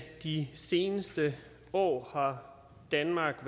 de seneste år har danmark